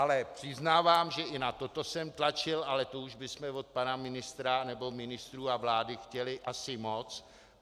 Ale přiznávám, že i na toto jsem tlačil, ale to už bychom od pana ministra, nebo ministrů a vlády chtěli asi moc.